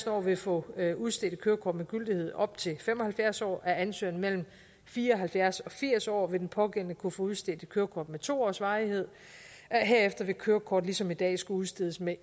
år vil få udstedt et kørekort med gyldighed op til er fem og halvfjerds år er ansøgeren mellem fire og halvfjerds år og firs år vil den pågældende kunne få udstedt et kørekort med to års varighed herefter vil kørekort ligesom i dag skulle udstedes med